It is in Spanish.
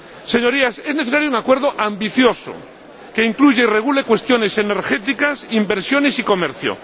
Señorías, es necesario un acuerdo ambicioso que incluya y regule cuestiones energéticas, inversiones y comercio.